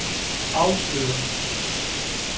afslører